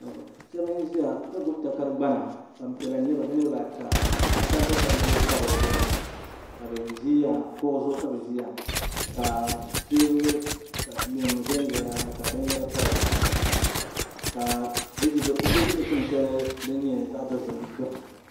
shab n ʒiya ka gbubi takari gbana Gbanpiɛla n nyɛba bi niraba ata ka sabbu sabbu pa dizuɣu ka bi ʒiya kuɣu zuɣu ka bi ʒiya ka teebuli nim ʒɛnʒɛya ka bin yɛra pa dizuɣu ka bi ʒi dikpuni shɛli din nyɛ zaɣ dozim gbuni